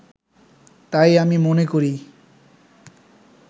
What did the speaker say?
তাই আমি মনে করি